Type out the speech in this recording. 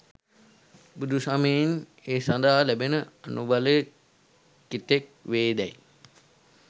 බුදුසමයෙන් ඒ සඳහා ලැබෙන අනුබලය කෙතෙක් වේ දැයි